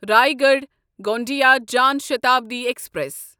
Raigarh Gondia Jan Shatabdi express